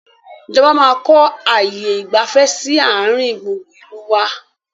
Ìjọba máa kọ ààyè ìgbafẹ́ sì àárín gbùngbùn ìlú wá